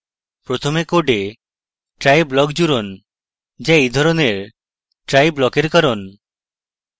প্রথমে code try block জুড়ুন যা এই ধরণের try block এর কারণ